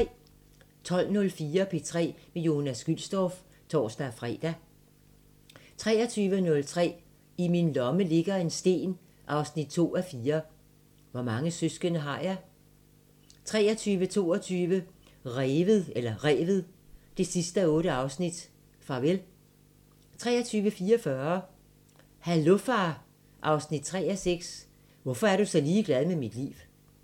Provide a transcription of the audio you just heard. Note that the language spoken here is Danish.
12:04: P3 med Jonas Gülstorff (tor-fre) 23:03: I min lomme ligger en sten 2:4 – Hvor mange søskende har jeg? 23:22: Revet 8:8 – Farvel 23:44: Hallo far 3:6 – Hvorfor er du så ligeglad med mit liv?